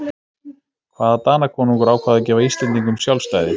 Hvaða Danakonungur ákvað að gefa Íslendingum sjálfstæði?